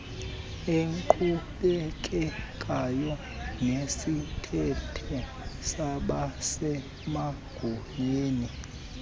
eqhubekekayo nesithethe sabasemagunyeni